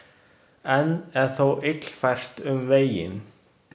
Enn er þó illfært um veginn.